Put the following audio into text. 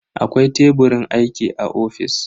Akwai Teburin aiki a ofis.